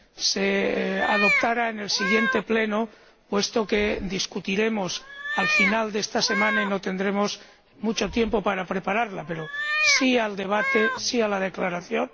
se adoptara en el siguiente Pleno, puesto que la discutiremos al final de esta semana y no tendremos mucho tiempo para prepararla, pero estamos a favor del debate y de la declaración.